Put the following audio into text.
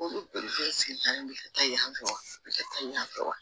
Olu bɛɛ sigida in bɛ kɛ yen fɛ wa a bɛ kɛ taa yan fɛ wa